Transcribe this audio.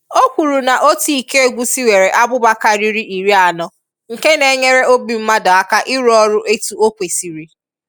O kwuru na otu iko egwusi nwere abụba karịrị iri anọ nke na-enyere obi mmadụ aka ịrụ ọrụ etu o kwesịrị